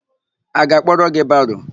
A ga-akpọrọ gị baro?